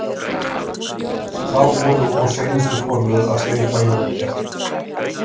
Þá voru og seinustu forvöð að steypa jólakertin.